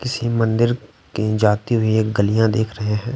किसी मंदिर की जाती हुई एक गलियाँ देख रहे हैं।